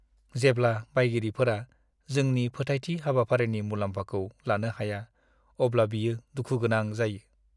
जेब्ला बायगिरिफोरा जोंनि फोथायथि हाबाफारिनि मुलाम्फाखौ लानो हाया, अब्ला बियो दुखु गोनां जायो।